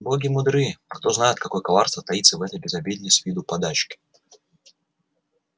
боги мудры кто знает какое коварство таится в этой безобидной с виду подачке